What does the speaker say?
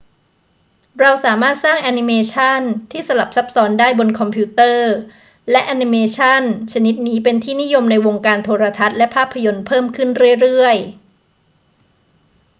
้เราสามารถสร้างแอนิเมชันที่สลับซับซ้อนได้บนคอมพิวเตอร์ และแอนิเมชันชนิดนี้เป็นที่นิยมในวงการโทรทัศน์และภาพยนตร์เพิ่มขึ้นเรื่อย ๆ